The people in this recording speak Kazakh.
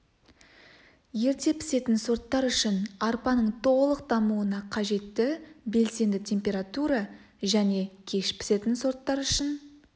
ерте пісетін сорттар үшін арпаның толық дамуына қажетті белсенді температура және кеш пісетін сорттар үшін